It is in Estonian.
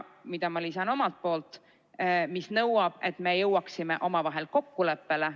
Ja lisan omalt poolt: see nõuab, et me jõuaksime omavahel kokkuleppele.